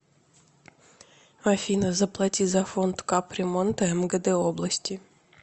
афина заплати за фонд кап ремонта мгд области